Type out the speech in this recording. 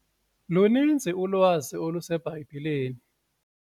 Luninzi ulwazi oluseBhayibhileni.